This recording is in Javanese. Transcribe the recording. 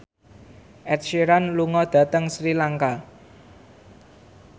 Ed Sheeran lunga dhateng Sri Lanka